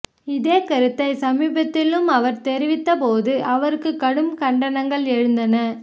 இதே கருத்தை சமீபத்திலும் அவர் தெரிவித்த போது அவருக்கு கடும் கண்டனங்கள் எழுந்தன